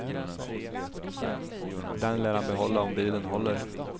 Den lär han behålla om bilen håller.